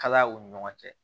Kalaya u ni ɲɔgɔn cɛ